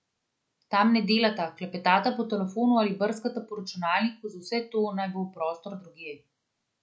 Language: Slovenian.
Tam ne delata, klepetata po telefonu ali brskata po računalniku, za vse to naj bo prostor drugje.